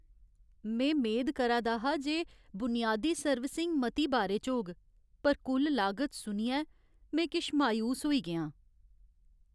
में मेद करा दा हा जे बुनियादी सर्विसिंग मती बारे च होग, पर कुल लागत सुनियै में किश मायूस होई गेआ आं।